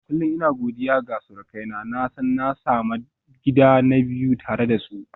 Kullum ina godiya ga surukaina, na san na sami gida na biyu tare da su.